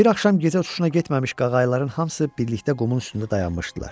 Bir axşam gecə uçuşuna getməmiş qağayıların hamısı birlikdə qumun üstündə dayanmışdılar.